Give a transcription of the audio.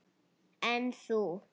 En þú.